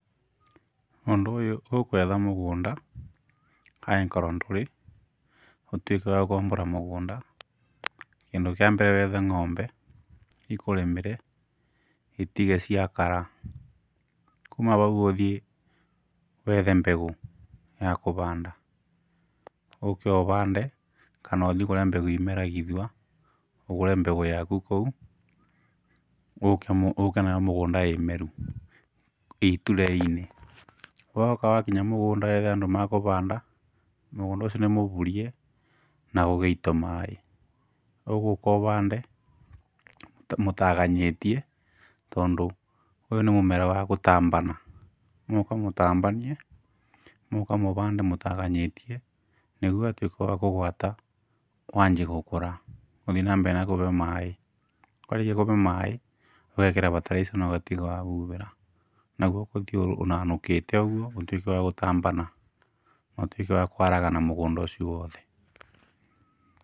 Ũndũ ũyũ ũkwetha mũgũnda aĩkorwo ndũrĩ ũtuĩke wa gũkombora mũgũnda kĩndũ kĩa mbere wethe ng'ombe ikũrĩmĩre itige ciakara kuma bau ũthie wethe mbegũ ya kũbanda ũke ũbande kana ũthíiĩ kũrĩa mbegũ imeragithwa ũgũre mbegũ yaku kũu ũke nayo mũgũnda ĩmeru ĩ tray-ini. Woka wakinya mũgũnda wethe andũ makũbanda mũgũnda ucio nĩmũburie na gũgaitwo maĩĩ ugũka ũbande mũtaganyĩtie tondũ ũyũ nĩ mũmera wa gũtambana mũgũka mũtambanie mũgũka mũbande mũtaganyĩtie nĩguo watũĩka wa kũgwata wanjie gũkũra ũthiĩ na mbere na kubeo maĩĩ. Warĩkia kũbe maĩĩ ũgekĩra bataraitha na ũgatiga wabubĩra naguo ũkũthiĩ ũnanũkĩte ũguo ũtuĩke wa gũtambana na ũtuĩke wa kwaragana mũgũnda ũcio wothe.